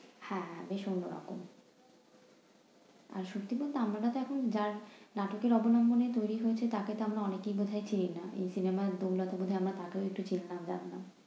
হ্যাঁ ভীষণ রকম। আহ সত্যি বলতে আমরা তো এখন যার নাটকের অবলম্বনে তৈরি হয়েছে, তাকে তো আমরা অনেকেই বোধহয় চিনি না। এই cinema র নাটকের অবলম্বনে আমরা তাকে হয়তো চিনলাম, জানলাম।